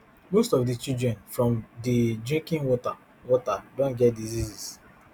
most of di children from di drinking water water don get diseases